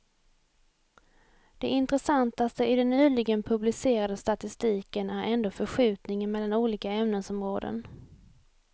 Det intressantaste i den nyligen publicerade statistiken är ändå förskjutningen mellan olika ämnesområden.